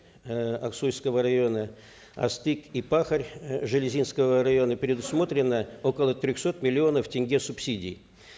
эээ аксуйского района астык и пахарь железинского района предусмотрено около трехсот миллионов тенге субсидий